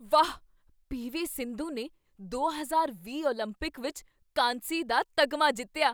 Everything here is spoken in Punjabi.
ਵਾਹ, ਪੀ.ਵੀ. ਸਿੰਧੂ ਨੇ ਦੋ ਹਜ਼ਾਰ ਵੀਹ ਓਲੰਪਿਕ ਵਿੱਚ ਕਾਂਸੀ ਦਾ ਤਗਮਾ ਜਿੱਤਿਆ